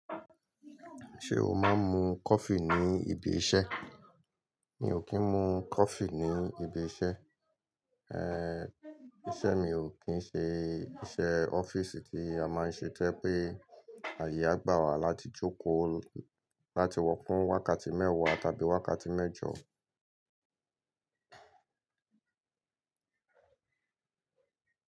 Ṣé o máa ń mu coffee ní ibi iṣẹ́? Mi ò kí ń mu coffee ní ibi iṣẹ́. Iṣẹ́ mi ò kí ń ṣe iṣẹ́ ọ́fíìsì tí a máa ń ṣe tó ye pé àyè á gbà wá láti jókòó láti wọ fún wákàtí mẹ́wàá tàbí wákàtí mẹ́jọ.